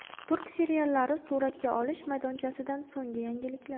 Turk seriallari suratga olish maydonchasidan so‘nggi yangiliklar.